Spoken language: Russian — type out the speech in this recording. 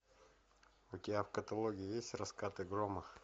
у тебя в каталоге есть раскаты грома